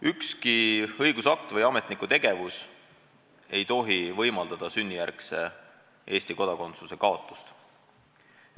Ükski õigusakt või ametniku tegevus ei tohi võimaldada sünnijärgse Eesti kodakondsuse kaotamist.